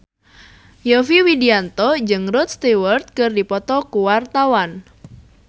Yovie Widianto jeung Rod Stewart keur dipoto ku wartawan